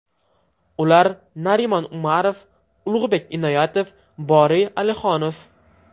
Ular Narimon Umarov, Ulug‘bek Inoyatov, Boriy Alixonov.